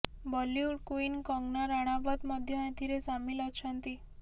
Bollywood queen Kangana Ranaut ମଧ୍ୟ ଏଥିରେ ସାମିଲ ଅଛନ୍ତି